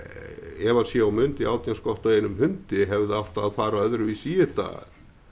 ef að sé og mundi átján skott á einum hundi hefði átt að fara öðruvísi í þetta